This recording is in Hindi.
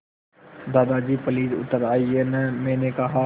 दादाजी प्लीज़ उतर आइये न मैंने कहा